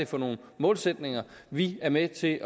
for nogle målsætninger vi er med til at